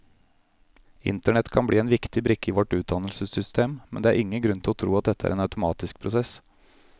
Internett kan bli en viktig brikke i vårt utdannelsessystem, men det er ingen grunn til å tro at dette er en automatisk prosess.